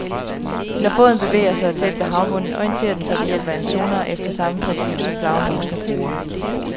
Når båden bevæger sig tæt ved havbunden, orienterer den sig ved hjælp af en sonar efter samme princip, som flagermusene bruger.